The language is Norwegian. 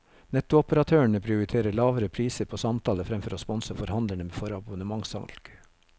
Nettoperatørene prioriterer lavere priser på samtaler fremfor å sponse forhandlerne for abonnementssalg.